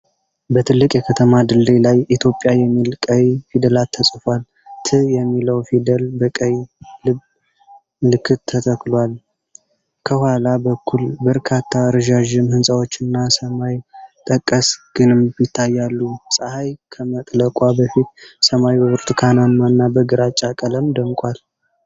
በትልቅ የከተማ ድልድይ ላይ "ኢትዮጵያ" የሚል ቀይ ፊደላት ተጽፏል። "ት" የሚለው ፊደል በቀይ ልብ ምልክት ተተክቷል። ከኋላ በኩል በርካታ ረዣዥም ሕንፃዎችና ሰማይ ጠቀስ ግንብ ይታያሉ። ፀሐይ ከመጥለቋ በፊት ሰማዩ በብርቱካናማና በግራጫ ቀለም ደምቋል።